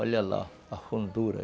Olha lá, a fundura.